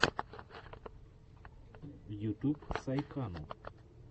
ютуб сайкану